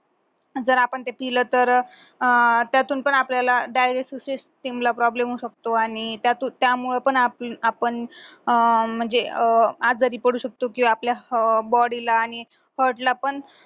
जर आपण पिलं तर अह त्यातून पण आपल्याला digestive system ला problem होऊ शकतो आणि त्यातून त्यामुळे पण आपण अह म्हणजे अह आजारी पडू शकतो आपल्या body ला आणि heart ला पण